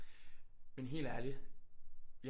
Men helt ærligt jeg